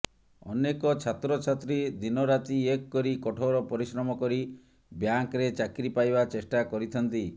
ଅନେକ ଛାତ୍ରଛାତ୍ରୀ ଦିନରାତି ଏକ କରି କଠୋର ପରିଶ୍ରମ କରି ବ୍ୟାଙ୍କରେ ଚାକିରୀ ପାଇବା ଚେଷ୍ଟା କରିଥାନ୍ତି